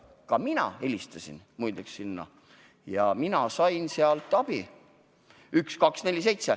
Ka mina, muide, helistasin sinna ja sain sealt abi.